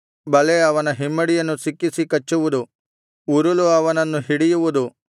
ಬಲೆ ಅವನ ಹಿಮ್ಮಡಿಯನ್ನು ಸಿಕ್ಕಿಸಿ ಕಚ್ಚುವುದು ಉರುಲು ಅವನನ್ನು ಹಿಡಿಯುವುದು